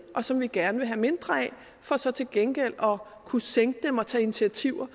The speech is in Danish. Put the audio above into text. og som vi gerne vil have mindre af for så til gengæld at kunne sænke dem og tage initiativer